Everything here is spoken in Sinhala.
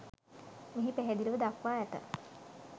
මෙහි පැහැදිලිව දක්වා ඇත.